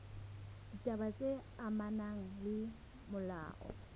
ditaba tse amanang le molao